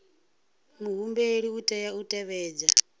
muhumbeli u tea u tevhedza